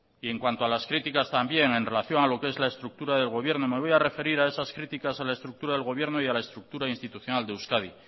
y en cuanto a las críticas también en relación a lo que es la estructura de gobierno me voy a referir a esas críticas a la estructura del gobierno y a la estructura institucional de euskadi